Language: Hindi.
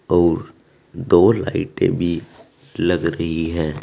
और दो लाइटें भी लग रही है।